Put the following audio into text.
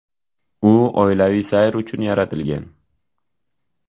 U oilaviy sayr uchun yaratilgan.